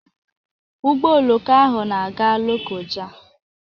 Ụgbọ oloko ahụ na-aga Lokoja.